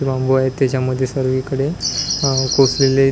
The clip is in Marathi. आहे त्याच्यामध्ये सगळीकडे अ कोकिळे --